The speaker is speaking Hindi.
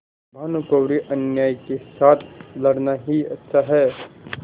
भानुकुँवरिअन्यायी के साथ लड़ना ही अच्छा है